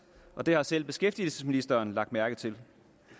det har selv beskæftigelsesministeren lagt mærke til